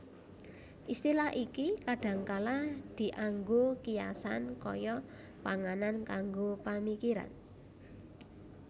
Istilah iki kadhangkala dianggo kiasan kaya panganan kanggo pamikiran